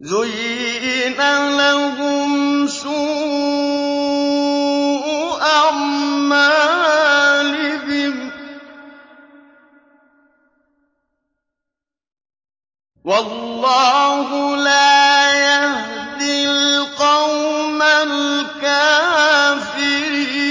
زُيِّنَ لَهُمْ سُوءُ أَعْمَالِهِمْ ۗ وَاللَّهُ لَا يَهْدِي الْقَوْمَ الْكَافِرِينَ